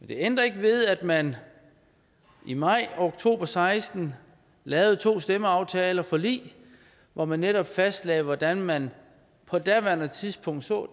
det ændrer ikke ved at man i maj og oktober seksten lavede to stemmeaftaler to forlig hvor man netop fastlagde hvordan man på daværende tidspunkt så